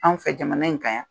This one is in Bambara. Anw fɛ jamana in kan yan.